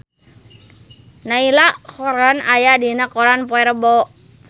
Niall Horran aya dina koran poe Rebo